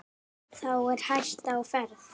Þá er hætta á ferð.